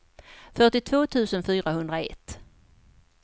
fyrtiotvå tusen fyrahundraett